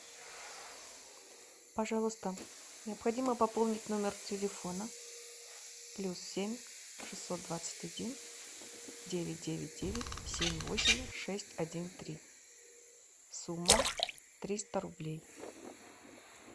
пожалуйста необходимо пополнить номер телефона плюс семь шестьсот двадцать один девять девять девять семь восемь шесть один три сумма триста рублей